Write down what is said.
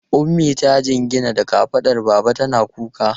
Ummi ta jingina da kafadar baba tana kuka.